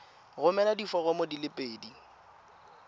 romela diforomo di le pedi